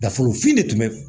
Dafolofin de tun bɛ